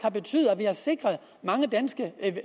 at vi har sikret mange danske